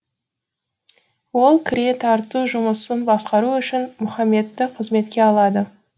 ол кіре тарту жұмысын басқару үшін мұхаммедті қызметке алады